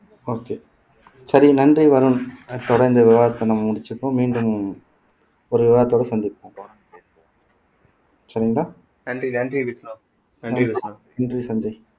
okay சரி நன்றி வருண் தொடர்ந்து இந்த விவாதத்தை நம்ம முடிச்சிப்போம் மீண்டும் ஒரு விவாதத்தோட சந்திப்போம் சரிங்களா நன்றி நன்றி விஷ்ணு நன்றி விஷ்ணு நன்றி சஞ்சய்